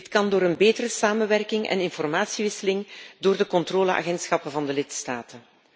Dit kan door een betere samenwerking en informatie uitwisseling door de controleagentschappen van de lidstaten.